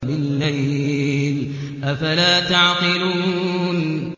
وَبِاللَّيْلِ ۗ أَفَلَا تَعْقِلُونَ